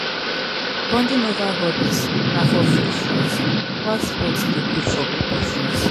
bonding over hobbies na for few friends while sports de good for group of friends